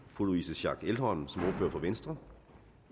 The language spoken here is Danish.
fru louise schack elholm som ordfører for venstre